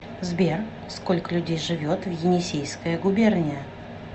сбер сколько людей живет в енисейская губерния